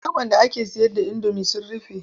Shagon da ake sayar da indomi sun rufe.